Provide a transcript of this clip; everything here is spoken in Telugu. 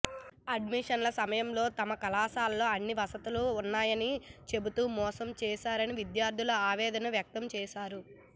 అడ్మిషన్ల సమయంలో తమ కళాశాలలో అన్ని వసతులు ఉన్నాయని చెబుతూ మోసం చేశారని విద్యార్థులు ఆవేదన వ్యక్తం చేశారు